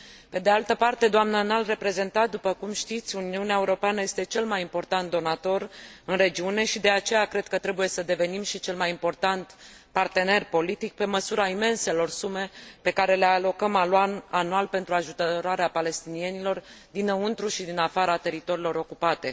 Pe de altă parte, doamnă Înalt Reprezentant, după cum știți, Uniunea Europeană este cel important donator în regiune și, de aceea, cred că trebuie să devenim și cel mai important partener politic, pe măsura imenselor sume pe care le alocăm anual pentru ajutorarea palestinienilor dinăuntrul și din afara teritoriilor ocupate.